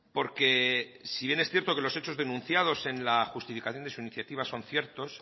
porque si bien es cierto que los hechos denunciados en la justificación de su iniciativa son ciertos